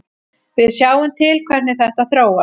Við sjáum til hvernig þetta þróast.